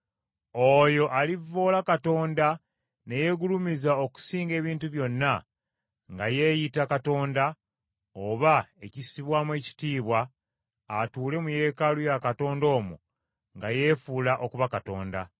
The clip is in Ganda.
oyo alivvoola Katonda ne yeegulumiza okusinga ebintu byonna nga yeeyita katonda oba ekissibwamu ekitiibwa atuule mu yeekaalu ya Katonda omwo nga yeefuula okuba Katonda.